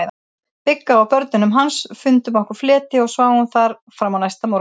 Bigga og börnunum hans, fundum okkur fleti og sváfum þar fram á næsta morgun.